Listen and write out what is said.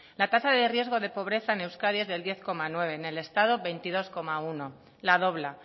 la tasa de riesgo de pobreza en euskadi es del diez coma nueve en el estado el veintidós coma uno la dobla